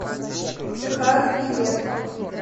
техас билет